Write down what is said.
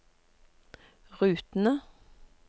rutene